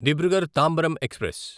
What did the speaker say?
Dibrugarh Tambaram express